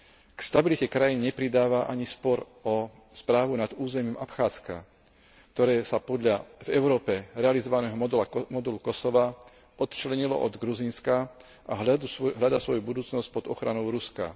K stabilite krajín nepridáva ani spor o správu nad územím Abcházska, ktoré sa podľa v Európe realizovaného modelu Kosova odčlenilo od Gruzínska a hľadá svoju budúcnosť pod ochranou Ruska.